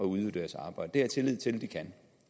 udøve deres arbejde jeg tillid til at de kan